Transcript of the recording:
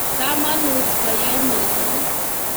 Kamanut koyai mising .